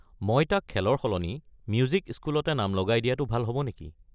মই তাক খেলৰ সলনি মিউজিক স্কুলতে নাম লগাই দিয়াটো ভাল হ'ব নেকি?